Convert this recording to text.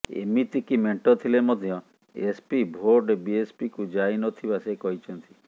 ଏମିତିକି ମେଣ୍ଟ ଥିଲେ ମଧ୍ୟ ଏସପି ଭୋଟ ବିଏସପିକୁ ଯାଇନଥିବା ସେ କହିଛନ୍ତି